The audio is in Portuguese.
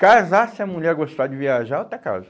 Casar, se a mulher gostar de viajar, eu até caso.